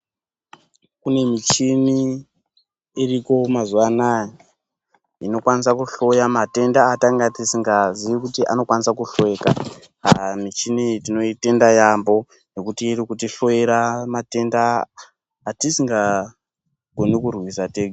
Kune muchini iriko mazuva anaya inokwanisa ku hloya matenda atanga tisinga zii kuti anokwanisa ku hloyeka aaa michini iyi tinoitenda yambo nekuti iri kuti hloyera matenda atisinga koni kurwisa tega.